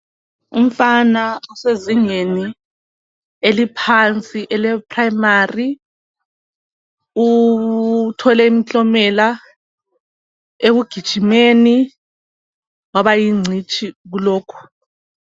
Umfana osezingeni eliphansi eleprimary. Uthole imiklomela ekugijimeni. Waba yingcitshi, kulokhu.